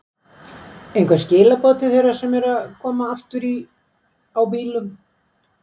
Einhver skilaboð til þeirra sem eru að koma aftur á bílum?